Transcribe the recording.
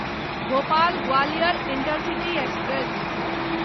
Bhopal Gwalior intercity express